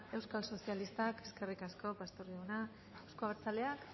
euskal sozialistak eskerrik asko pastor jauna euzko abertzaleak